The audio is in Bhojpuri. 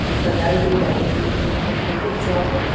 और सजाइल गइल बाड़े। मानहिया एगो फोटो खिचवावत बाड़े।